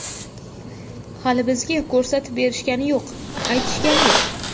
Hali bizga ko‘rsatib berishgani yo‘q, aytishgani yo‘q.